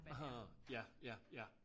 Aha ja ja ja